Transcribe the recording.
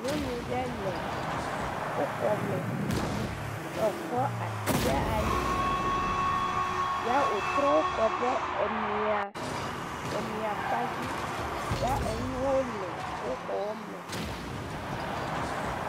Nyɔnu ɖe le wo xɔ me, ye wòkɔ asi ɖa ali ya wòtrɔ kɔ ɖe emia, emia kpa dzi, ya enuwo le wo xɔ me.